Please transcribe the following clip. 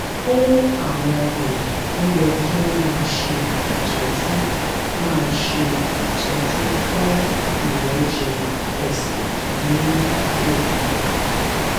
fún àwọn èèyàn ó yẹ kí wón máa ṣe ìtọjú máa ṣe ìtọjú fún ìrẹjẹ ẹsè ní òru